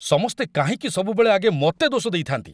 ସମସ୍ତେ କାହିଁକି ସବୁବେଳେ ଆଗେ ମୋତେ ଦୋଷ ଦେଇଥାନ୍ତି?